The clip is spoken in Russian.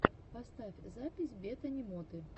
поставь запись бетани моты